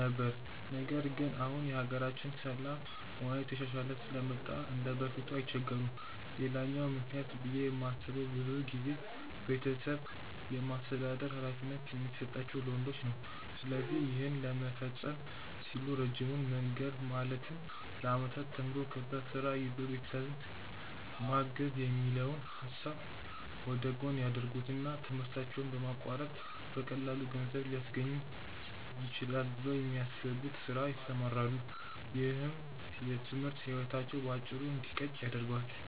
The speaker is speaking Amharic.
ነበር። ነገር ግን አሁን የሀገራችን የሰላም ሁኔታ እየተሻሻለ ስለመጣ እንደበፊቱ አይቸገሩም። ሌላኛው ምክንያት ብዬ የማስበው ብዙ ጊዜ ቤተሰብን የማስተዳደር ሀላፊነት የሚሰጠው ለወንዶች ነው። ስለዚህ ይህን ለመፈፀም ሲሉ ረጅሙን መንገድ ማለትም ለአመታት ተምሮ፣ ከዛ ስራ ይዞ ቤተሰብን ማገዝ የሚለውን ሀሳብ ወደጎን ያደርጉትና ትምህርታቸውን በማቋረጥ በቀላሉ ገንዘብ ሊያስገኝልኝ ይችላል ብለው ወደሚያስቡት ስራ ይሰማራሉ። ይህም የትምህርት ህይወታቸው በአጭሩ እንዲቀጭ ያደርገዋል።